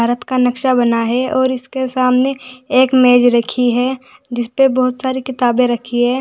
का नक्शा बना है और इसके सामने एक मेज रखी है जिसपे बहुत सारी किताबें रखी है।